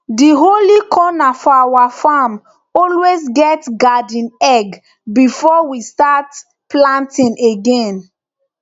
di holy corner for our farm always get garden egg before we start planting again